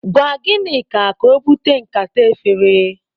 Gwa Ginika ka obute nkata efere.